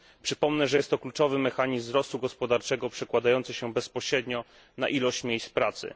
Przypomnę, że jest to kluczowy mechanizm wzrostu gospodarczego, przekładający się bezpośrednio na ilość miejsc pracy.